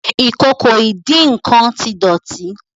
Ìkòkò ìdín-nǹkan tí dótì.